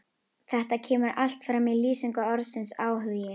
Þetta kemur allt fram í lýsingu orðsins áhugi: